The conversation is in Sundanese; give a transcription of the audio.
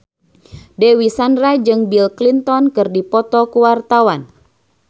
Dewi Sandra jeung Bill Clinton keur dipoto ku wartawan